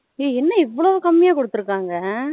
ஏ என்ன எவளோ கம்மியா குடுத்துருக்காங்க